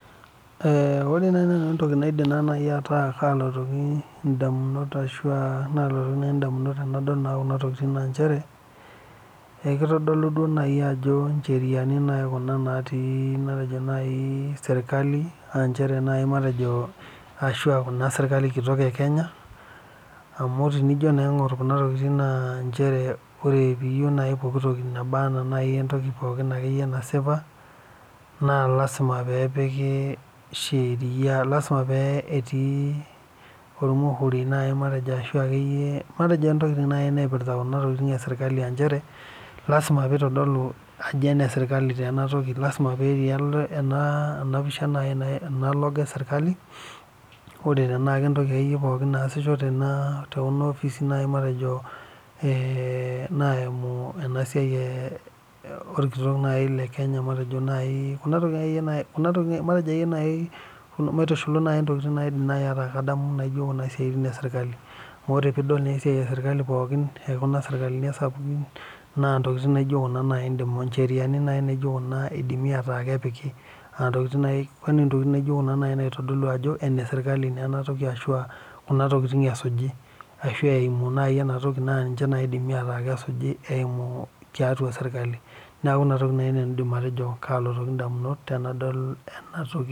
Ore naaji nanu entoki naidim ataa kalotoki ndamunot ashua nalotu naaji ndamunot tenol ena naa nchere, ekitodolu naaji ajo ncheriani kuna matejo natii naaji sirkali ,ashua kuna sirkali kitok ekenya, amu tinijo naa aingor kuna tokiting naa nchere ijo pookitoki akeyie naba naaji ena entoki naasipa naa lasima pee etii ntokiting akeyie naipirta kuna tokiting esirkali aa chere lasima pee eitodolu ajo eneserkali taa ena toki. Lasima pee etii ena logo esirkali, ore paa entoki akeyie pookin naasisho naaji tekuna opisini matejo naimu naaji orkitok lekenya, matejo naaji kuno tokiting akeyie naaji naidim ataa kadamu kuna toking esirkali. Amu ore pee idol esiai esirkali pookin kuna sapukin, na ncheriani naijo kuna naaji eidimi ataa kepiki ,ntokiting naitodolu ajo enesirkali naa enatoki ashua kuna tokiting eisuji, ashua eimu enatoki naa keidim naaji ataa ninche esuji eimu tiatua sirkali. Neeku ina toki naaji nanu aidim atejo kalotoki ndamunot tenadol ena toki.